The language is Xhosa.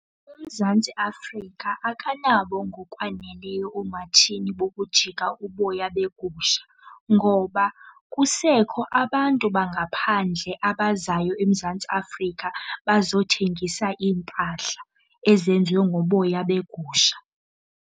UMzantsi Afrika akanabo ngokwaneleyo oomatshini bokujika uboya begusha ngoba kusekho abantu bangaphandle abazayo eMzantsi Afrika bazothengisa iimpahla ezenziwe ngoboya begusha.